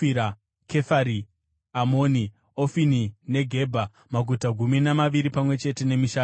Kefari Amoni, Ofini, neGebha, maguta gumi namaviri pamwe chete nemisha yawo.